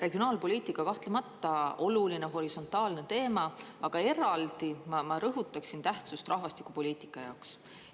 Regionaalpoliitika kahtlemata oluline horisontaalne teema, aga eraldi ma rõhutaksin tähtsust rahvastikupoliitika jaoks.